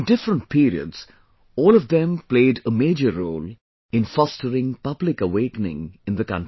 In different periods, all of them played a major role in fostering public awakening in the country